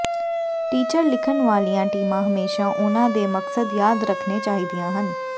teacher ਲਿਖਣ ਵਾਲੀਆਂ ਟੀਮਾਂ ਹਮੇਸ਼ਾ ਉਹਨਾਂ ਦੇ ਮਕਸਦ ਯਾਦ ਰੱਖਣੇ ਚਾਹੀਦੀਆਂ ਹਨ